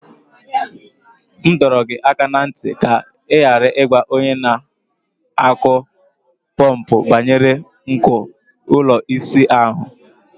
M dọrọ gị aka ná ntị ka ị ghara ịgwa onye na-akụ pọmpụ banyere nko ụlọ ịsa ahụ.